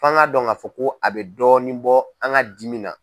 Fɔ anga dɔn k'a fɔ ko a bɛ dɔɔnin bɔ an ka dimi na.